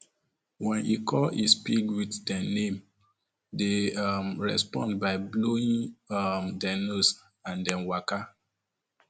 wen he call his pig with dem name dey um respond by blowing um dem nose and dem waka um